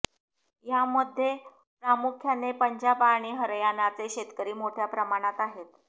यामध्ये प्रामुख्याने पंजाब आणि हरयाणाचे शेतकरी मोठ्या प्रमाणात आहेत